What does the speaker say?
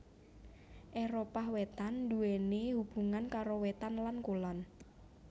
Éropah Wétan nduwèni hubungan karo wétan lan kulon